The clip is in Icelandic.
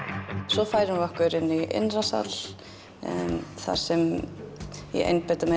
svo færum við okkur inn í innri sal þar sem ég einbeiti mér